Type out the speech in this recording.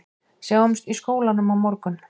Sjáumst í skólanum á morgun